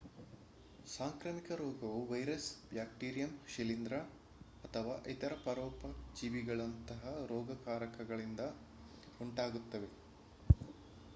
ಸಾಂಕ್ರಾಮಿಕ ರೋಗವು virus bacterium ಶಿಲೀಂಧ್ರ ಅಥವಾ ಇತರ ಪರೋಪಜೀವಿಗಳಂತಹ ರೋಗಕಾರಕದಿಂದ ಉಂಟಾಗುತ್ತದೆ